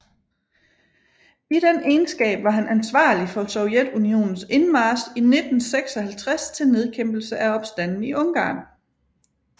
I den egenskab var han ansvarlig for Sovjetunionens indmarch i 1956 til nedkæmpelse af opstanden i Ungarn